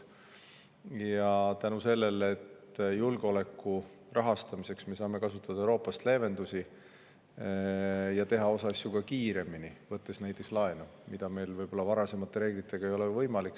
tänu sellele, et julgeoleku rahastamiseks saame kasutada Euroopast leevendusi ja teha osa asju kiiremini, võttes näiteks laenu, mis varasemate reeglite korral polnud võimalik.